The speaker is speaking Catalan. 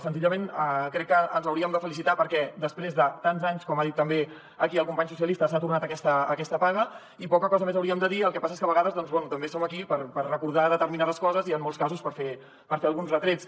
senzillament crec que ens hauríem de felicitar perquè després de tants anys com ha dit també aquí el company socialista s’ha tornat aquesta paga i poca cosa més hauríem de dir el que passa és que a vegades doncs bé també som aquí per recordar determinades coses i en molts casos per fer alguns retrets